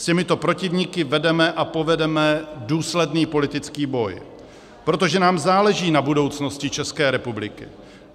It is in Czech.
S těmito protivníky vedeme a povedeme důsledný politický boj, protože nám záleží na budoucnosti České republiky.